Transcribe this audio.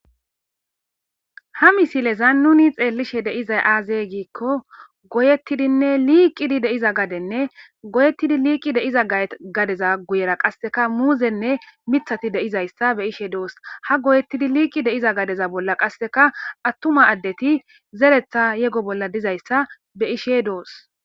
Ha misileza nuni xeellishe deizay aazey giikko goyettidinne liiqidi deiza gadenne goyettidi liiqi deiza gadeza guyera qasseka muuzenne mithati deizayssa be'ishe doos ha goyettidi liiqi deiza gadeza bolla qasseka attuma addeti zeretha yego bolla dizayssa be ishe doos.